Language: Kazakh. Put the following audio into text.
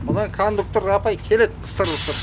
мына кондуктор апай келеді қыстырылысып